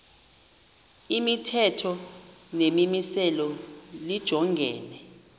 imithetho nemimiselo lijongene